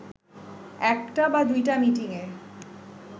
একটা বা দুইটা মিটিংয়ে